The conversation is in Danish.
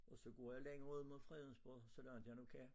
Og så går jeg længere ud mod Fredensborg så langt jeg nu kan